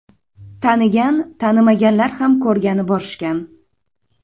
Tanigan, tanimaganlar ham ko‘rgani borishgan.